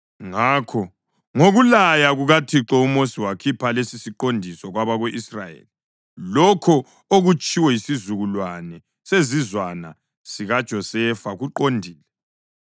Ngakho ngokulaya kukaThixo uMosi wakhipha lesisiqondiso kwabako-Israyeli: “Lokho okutshiwo yisizukulwane sesizwana sikaJosefa kuqondile.